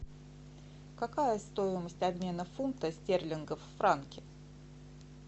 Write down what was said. какая стоимость обмена фунта стерлингов в франки